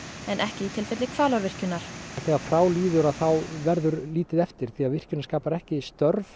en ekki í tilfelli Hvalárvirkjunar þegar frá líður þá verður lítið eftir því að virkjunin skapar ekki störf